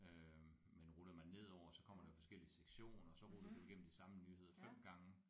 Øh men ruller man nedover så kommer der forskellige sektioner så ruller du igennem de samme nyheder 5 gange